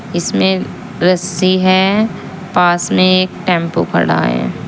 इसमें रस्सी है पास में एक टेंपू खड़ा है।